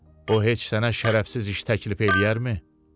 O heç sənə şərəfsiz iş təklif eləyərmi?